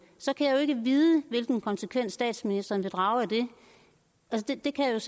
så kan jeg jo ikke vide hvilken konsekvens statsministeren vil drage af det det kan jeg